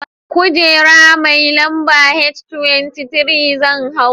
Kujera mai lamba H23 zan hau.